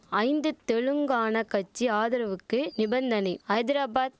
ஐந்து தெலுங்கான கட்சி ஆதரவுக்கு நிபந்தனை ஐதராபாத்